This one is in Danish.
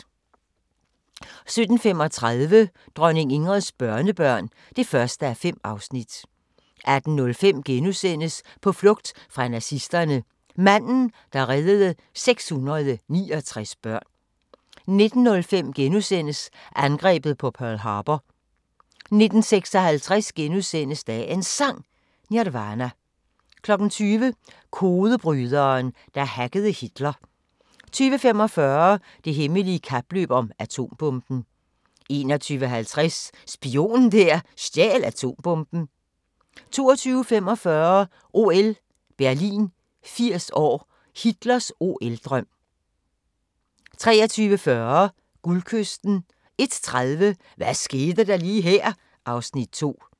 17:35: Dronning Ingrids børnebørn (1:5) 18:05: På flugt fra nazisterne – manden, der reddede 669 børn * 19:05: Angrebet på Pearl Harbor * 19:56: Dagens Sang: Nirvana * 20:00: Kodebryderen, der hackede Hitler 20:45: Det hemmelige kapløb om atombomben 21:50: Spionen der stjal atombomben 22:45: OL Berlin 80 år: Hitlers OL-drøm 23:40: Guldkysten 01:30: Hvad skete der lige her? (Afs. 2)